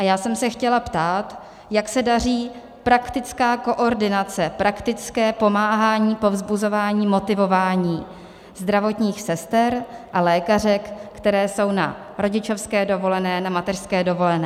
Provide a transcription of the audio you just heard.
A já jsem se chtěla ptát, jak se daří praktická koordinace, praktické pomáhání, povzbuzování, motivování zdravotních sester a lékařek, které jsou na rodičovské dovolené, na mateřské dovolené.